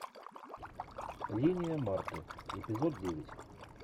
линия марты эпизод девять